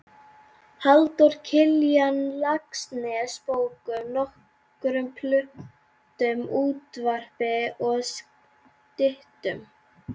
Halldór Kiljan Laxness bókum, nokkrum plöntum, útvarpi og styttum.